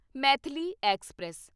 Maithili express